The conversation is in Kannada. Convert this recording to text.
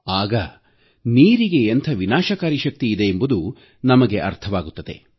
ಆಗ ನೀರಿಗೆ ಎಂಥ ವಿನಾಶಕಾರಿ ಶಕ್ತಿ ಇದೆ ಎಂಬುದು ನಮಗೆ ಅರ್ಥವಾಗುತ್ತದೆ